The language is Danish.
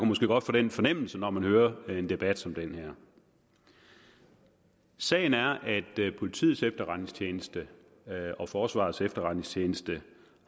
måske godt få den fornemmelse når man hører en debat som den her sagen er at politiets efterretningstjeneste og forsvarets efterretningstjeneste